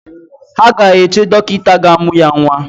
Ha ga-eche dọkịta ga-amụ ya nwa